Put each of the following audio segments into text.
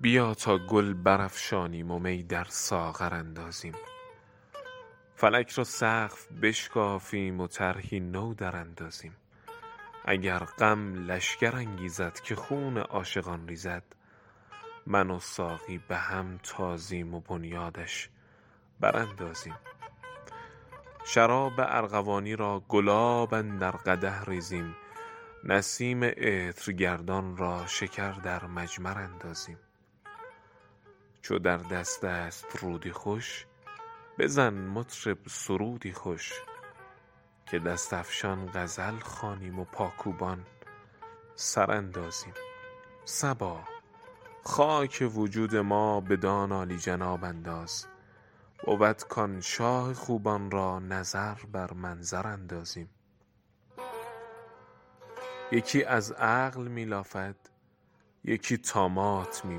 بیا تا گل برافشانیم و می در ساغر اندازیم فلک را سقف بشکافیم و طرحی نو دراندازیم اگر غم لشکر انگیزد که خون عاشقان ریزد من و ساقی به هم تازیم و بنیادش براندازیم شراب ارغوانی را گلاب اندر قدح ریزیم نسیم عطرگردان را شکر در مجمر اندازیم چو در دست است رودی خوش بزن مطرب سرودی خوش که دست افشان غزل خوانیم و پاکوبان سر اندازیم صبا خاک وجود ما بدان عالی جناب انداز بود کآن شاه خوبان را نظر بر منظر اندازیم یکی از عقل می لافد یکی طامات می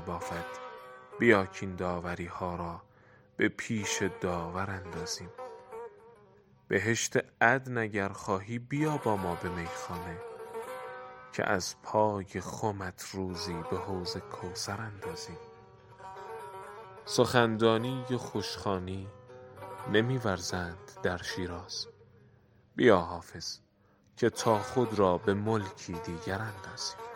بافد بیا کاین داوری ها را به پیش داور اندازیم بهشت عدن اگر خواهی بیا با ما به میخانه که از پای خمت روزی به حوض کوثر اندازیم سخن دانی و خوش خوانی نمی ورزند در شیراز بیا حافظ که تا خود را به ملکی دیگر اندازیم